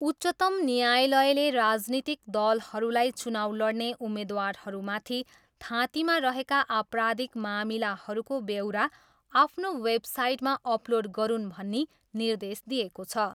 उच्चतम न्यायलयले राजनीतिक दलहरूलाई चुनाउ लड्ने उम्मेद्वारहरूमाथि थाँतीमा रहेका आपराधिक मामिलाहरूको व्यौरा आफ्नो वेबसाइटमा अपलोड गरून् भनी निर्देश दिएको छ।